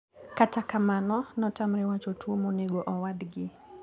Kata kamano notamre wacho tuo monego owadgi.